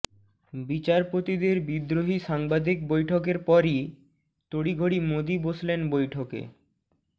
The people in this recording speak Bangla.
বিচারপতিদের বিদ্রোহী সাংবাদিক বৈঠকের পরই তড়িঘড়ি মোদী বসলেন বৈঠকে